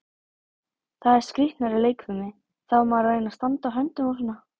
Það er skrýtnari leikfimi, þá á maður að reyna að standa á höndum og svona.